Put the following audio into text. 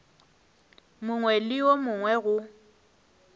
mongwe le wo mongwe go